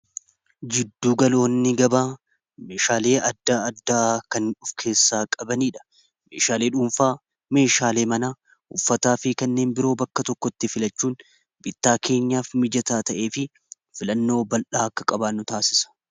jidduu galoonni gabaa meeshaalee adda addaa kan of keessaa qabanii dha meeshaalee dhuunfaa, meeshaalee mana, uffataa fi kanneen biroo bakka tokkotti filachuun bittaa keenyaaf mijataa ta'ee fi filannoo ballaa akka qabaanu taasisa